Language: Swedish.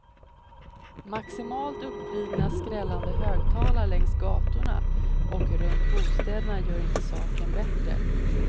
Maximalt uppvridna skrällande högtalare längs gatorna och runt bostäderna gör inte saken bättre.